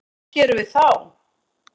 Hvað gerum við þá?